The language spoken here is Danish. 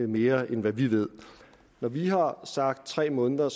mere end vi ved når vi har sagt tre måneder